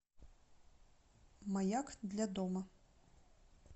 маяк для дома